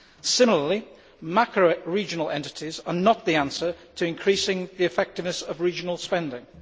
Similarly, macro regional entities are not the answer to increasing the effectiveness of regional spending.